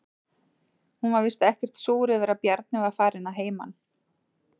Hún var víst ekkert súr yfir að Bjarni var farinn að heiman.